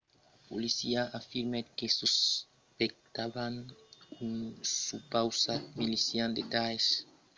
la polícia afirmèt que suspectavan un supausat milician de daesh isil de la responsabilitat de l'ataca